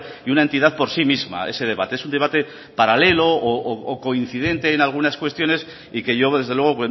y una entidad por sí misma ese debate es un debate paralelo o coincidente en algunas cuestiones y que yo desde luego